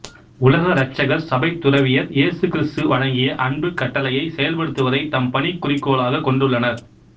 உலக இரட்சகர் சபைத் துறவியர் இயேசு கிறிஸ்து வழங்கிய அன்புக் கட்டளையைச் செயல்படுத்துவதைத் தம் பணிக்குறிக்கோளாகக் கொண்டுள்ளனர்